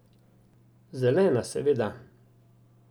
Zelena, seveda.